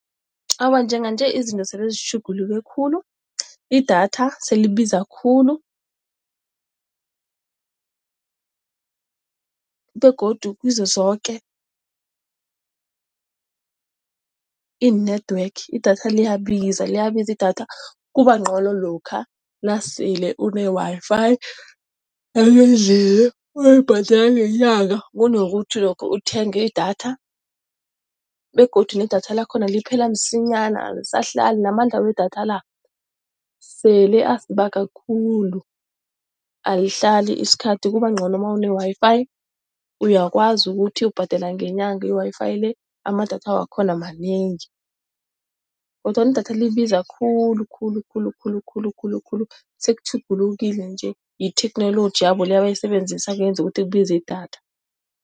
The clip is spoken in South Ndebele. Awa, njenganje izinto selezitjhuguluke khulu, idatha selibiza khulu begodu kizo zoke ii-network idatha liyabiza liyabiza idatha. Kubangcono lokha nasele une-Wi-Fi yangendlini oyibhadela ngenyanga, kunokuthi lokha uthenge idatha begodu nedatha lakhona liphela msinyana, alisahlali namandla wedatha la sele asibaga khulu. Alihlali isikhathi kuba ngcono nawune-Wi-Fi uyakwazi ukuthi ubhadela ngenyanga i-Wi-Fi le, namadatha wakhona manengi. Kodwana idatha libiza khulu khulu khulu khulu khulu khulu khulu sekutjhugulukile nje, yitheknoloji yabo le, abayisebenzisako eyenza ukuthi kubize idatha.